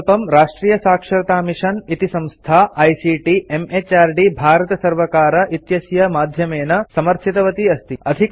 इमं प्रकल्पं राष्ट्रियसाक्षरतामिषन् इति संस्था आईसीटी म्हृद् भारतसर्वकार इत्यस्य माध्यमेन समर्थितवती अस्ति